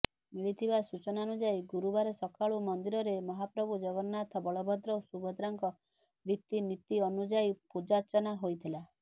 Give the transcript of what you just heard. ମିଳିଥିବା ସୂଚନାନୁଯାୟୀ ଗୁରୁବାର ସକାଳୁ ମନ୍ଦିରରେ ମହାପ୍ରଭୁ ଜଗନ୍ନାଥ ବଳଭଦ୍ର ଓ ସୁଭଦ୍ରାଙ୍କ ରିତିନିତୀ ଅନୁଯାୟୀ ପୁଜାର୍ଚ୍ଚନା ହୋଇଥିଲା